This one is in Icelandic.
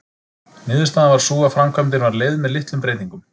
Niðurstaðan varð sú að framkvæmdin var leyfð með litlum breytingum.